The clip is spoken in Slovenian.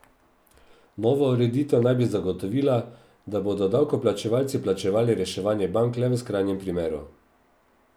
Nova ureditev naj bi zagotovila, da bodo davkoplačevalci plačevali reševanje bank le v skrajnem primeru.